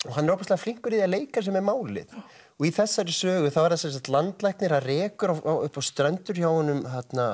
hann er ofboðslega flinkur í að leika sér með málið og í þessari sögu er það landlæknir það rekur upp á strendur hjá honum